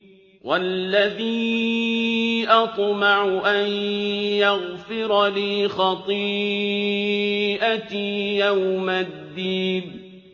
وَالَّذِي أَطْمَعُ أَن يَغْفِرَ لِي خَطِيئَتِي يَوْمَ الدِّينِ